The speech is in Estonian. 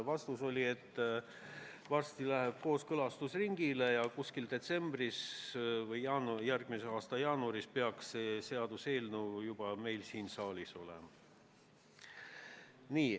Vastus oli, et varsti läheb eelnõu kooskõlastusringile ja detsembris või järgmise aasta jaanuaris peaks see juba meil siin saalis olema.